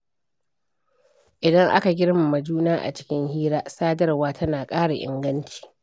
Idan aka girmama juna a cikin hira, sadarwa tana ƙara inganci.